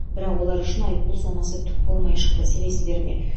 бірақ олар үшін айыппұл сомасы түк болмай шықты сенесіздер ме